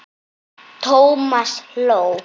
Thomas hló.